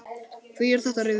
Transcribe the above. Hví er þetta rifjað upp?